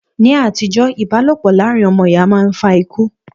Ní àtijọ́, ìbálòpọ̀ láàrin ọmọ ìyá máa ń fa ikú